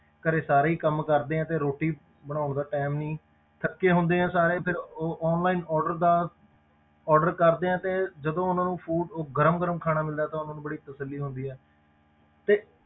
ਘਰੇ ਸਾਰੇ ਹੀ ਕੰਮ ਕਰਦੇ ਹਾਂ ਤੇ ਰੋਟੀ ਬਣਾਉਣ ਦਾ time ਨਹੀਂ ਥੱਕੇ ਹੁੰਦੇ ਹਾਂ ਸਾਰੇ ਫਿਰ ਉਹ online order ਦਾ order ਕਰਦੇ ਹਾਂ ਤੇ ਜਦੋਂ ਉਹਨਾਂ ਨੂੰ food ਉਹ ਗਰਮ ਗਰਮ ਖਾਣਾ ਮਿਲਦਾ ਤਾਂ ਉਹਨਾਂ ਨੂੰ ਬੜੀ ਤਸੱਲੀ ਹੁੰਦੀ ਹੈ, ਤੇ